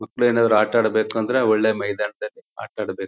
ಮಕ್ಕಳೇನಾದರೂ ಆಟ ಆಡಬೇಕು ಅಂದರೆ ಒಳ್ಳೆ ಮೈದಾನದಲ್ಲಿ ಆಟ ಆಡಬೇಕು.